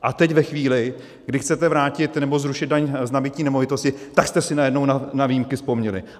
A teď ve chvíli, kdy chcete vrátit nebo zrušit daň z nabytí nemovitosti, tak jste si najednou na výjimky vzpomněli.